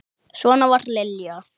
Svona var Lilja.